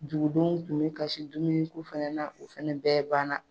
Dugudenw kun bi kasi dumuni ko fɛnɛ na, o fɛnɛ bɛɛ banna